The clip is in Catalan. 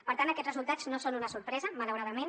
per tant aquests resultats no són una sorpresa malauradament